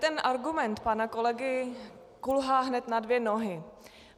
Ten argument pana kolegy kulhá hned na dvě nohy.